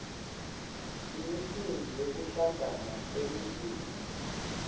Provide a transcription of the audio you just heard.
imicimbi yekuhlangana kwemindzeni